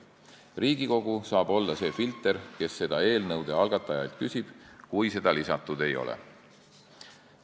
Riigikogu saab olla see filter, kes seda eelnõu algatajalt küsib, kui seda lisatud ei ole.